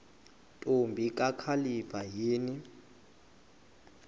ntombi kakhalipha yini